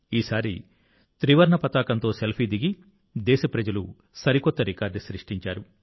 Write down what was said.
ఈసారి త్రివర్ణ పతాకంతో సెల్ఫీ దిగి దేశప్రజలు సరికొత్త రికార్డు సృష్టించారు